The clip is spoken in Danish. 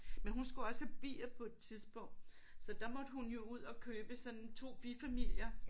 Men hun skulle også have bier på et tidspunkt så der måtte hun jo ud og købe sådan 2 bifamilier